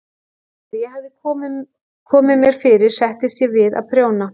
Þegar ég hafði komið mér fyrir settist ég við að prjóna.